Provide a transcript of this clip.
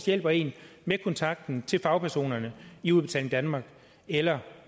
hjælper en med kontakten til fagpersonerne i udbetaling danmark eller